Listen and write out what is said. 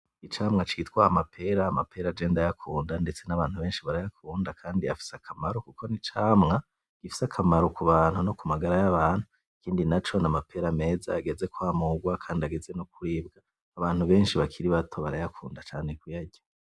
icamwa citwa amapera, Amapera jewe ndayakunda ndetse n'abantu beshi barayakunda kandi afise akamaro kuko n'icamwa gifise akamaro ku bantu no ku magara y'abantu ikindi naco n'amapera meza ageze kwa murwa kandi ageze no kuribwa abantu beshi bakiri bato barayakunda cane ku yarya.